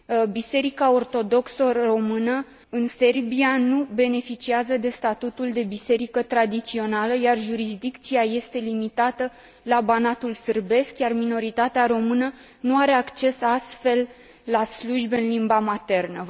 Biserica Ortodoxă Română, în Serbia, nu beneficiază de statutul de biserică tradițională, iar jurisdicția este limitată la Banatul sârbesc, iar minoritatea română nu are acces, astfel, la slujbe în limba maternă.